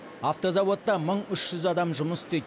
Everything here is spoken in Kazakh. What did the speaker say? автозауытта мың үш жүз адам жұмыс істейді